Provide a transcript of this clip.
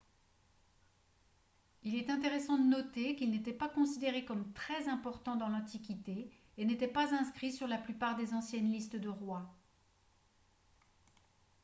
il est intéressant de noter qu'il n'était pas considéré comme très important dans l'antiquité et n'était pas inscrit sur la plupart des anciennes listes de rois